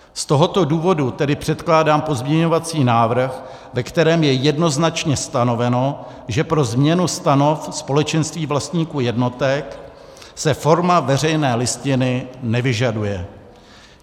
Z tohoto důvodu tedy předkládám pozměňovací návrh, ve kterém je jednoznačně stanoveno, že pro změnu stanov společenství vlastníků jednotek se forma veřejné listiny nevyžaduje.